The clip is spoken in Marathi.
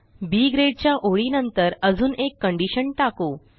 बी ग्रेड च्या ओळीनंतर अजून एक कंडिशन टाकू